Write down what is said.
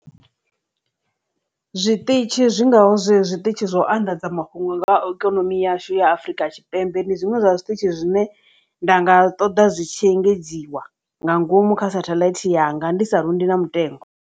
Zwiṱitshi zwi ngaho zwe zwiṱitshi zwo anḓadza mafhungo nga ha ikonomi yashu ya afrika tshipembe ndi zwiṅwe zwa zwiṱitshi zwine nda nga ṱoḓa zwitshi engedziwa nga ngomu kha sathaḽaithi yanga ndi sa rundi na mutengo.